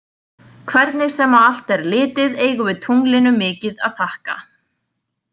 Hvernig sem á allt er litið eigum við tunglinu mikið að þakka.